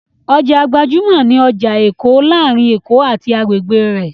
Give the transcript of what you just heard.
Ọjà gbajúmọ̀ ni ọjà Èkó láàárín Èkó àti agbègbè rẹ̀.